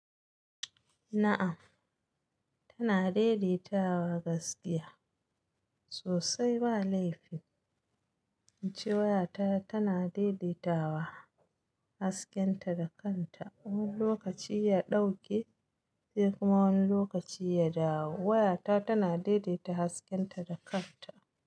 Na'am, tana daidaitawa gaskiya sosai. Ba laifi in ce waya ta tana daidaitawa, haskenta da kanta. Wani lokaci ya ɗauke sai kuma wani lokaci ya dawo. Waya ta tana daidaita haskenta da kanta.